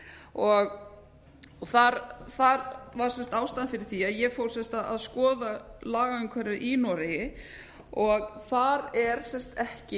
var sem sagt ástæðan fyrir vísa á ég fór sem sagt að skoða lagaumhverfi í noregi þar er ekki neins staðar